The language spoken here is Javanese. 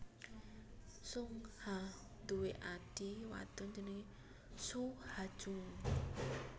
Sung Ha duwé adhi wadon jenengé Soo Ha Jung